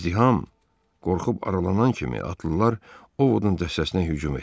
İzdiham qorxub aralanan kimi atlılar Ovodun dəstəsinə hücum etdilər.